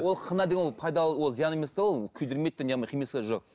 ол хна деген ол пайдалы ол зиян емес те ол күйдірмейді де жоқ